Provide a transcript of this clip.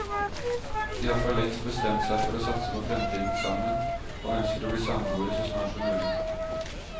De har forlengst bestemt seg for å satse på fremtiden sammen, og ønsker å bli samboere så snart som mulig.